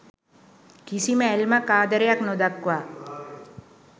කිසිම ඇල්මක් ආදරයක් නොදක්වා